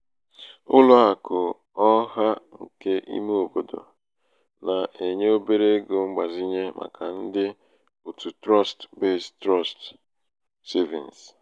ụlọàkụ̀ ọ̀hà ṅ̀kè ime òbòdò nà-ènye obere ego mgbazinye màkà ndị òtù trust-based trust-based savings